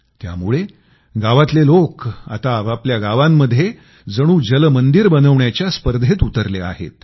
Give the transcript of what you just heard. त्यामुळं गावातले लोक आता आपआपल्या गावामध्ये जणू जलमंदिर बनवण्याच्या स्पर्धेत उतरले आहेत